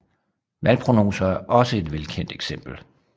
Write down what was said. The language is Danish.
Valgprognoser er også et velkendt eksempel